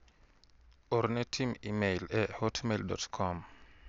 Orne tim imel e hotmail.com